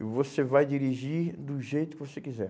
E você vai dirigir do jeito que você quiser.